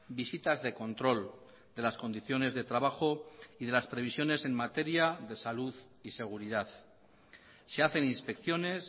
visitas de control de las condiciones de trabajo y de las previsiones en materia de salud y seguridad se hacen inspecciones